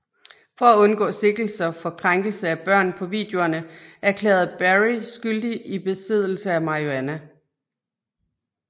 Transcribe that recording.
For at undgå sigtelser for krænkelse af børn på videoerne erklærede Berry skyldig i besiddelse af marihuana